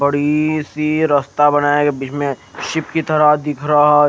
बड़ी सी रस्ता बनाया बिसमे सिफ्ट की तरह दिख रहा है।